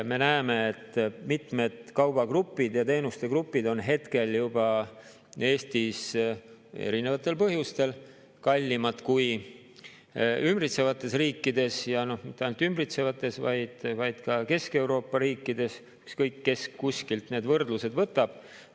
Me näeme, et mitmed kaubagrupid ja teenustegrupid on hetkel juba Eestis erinevatel põhjustel kallimad kui ümbritsevates riikides, ja mitte ainult ümbritsevates, vaid ka Kesk-Euroopa riikides, ükskõik, kes kuskilt need võrdlused võtab.